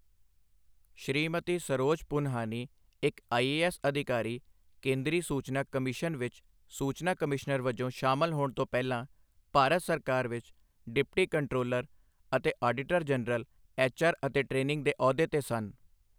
ਸ਼੍ਰੀਮਤੀ ਸਰੋਜ ਪੁੰਹਾਨੀ, ਇੱਕ ਆਈਏਐੱਸ ਅਧਿਕਾਰੀ, ਕੇਂਦਰੀ ਸੂਚਨਾ ਕਮਿਸ਼ਨ ਵਿੱਚ ਸੂਚਨਾ ਕਮਿਸ਼ਨਰ ਵਜੋਂ ਸ਼ਾਮਲ ਹੋਣ ਤੋਂ ਪਹਿਲਾ, ਭਾਰਤ ਸਰਕਾਰ ਵਿੱਚ ਡਿਪਟੀ ਕੰਟਰੋਲਰ ਅਤੇ ਆਡੀਟਰ ਜਨਰਲ ਐੱਚਆਰ ਅਤੇ ਟ੍ਰੇਨਿੰਗ ਦੇ ਅਹੁਦੇ ਤੇ ਸਨ।